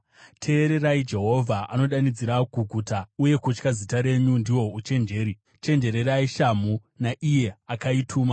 Teererai! Jehovha anodanidzira kuguta, uye kutya zita renyu ndihwo uchenjeri: “Chenjererai shamhu naIye akaituma.